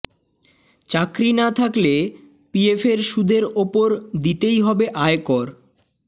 চাকরি না থাকলে পিএফের সুদের উপর দিতেই হবে আয়কর